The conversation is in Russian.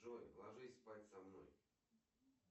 джой ложись спать со мной